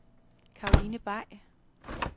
Caroline Bay